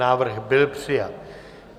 Návrh byl přijat.